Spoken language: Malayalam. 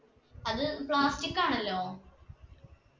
അത് plastic ആണല്ലോ